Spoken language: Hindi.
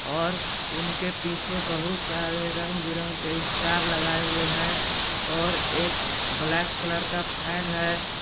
और उनके पीछे बहुत सारे रंग बिरंगे के स्टार लगाए हुए हैं और एक ब्लैक कलर का फैन है।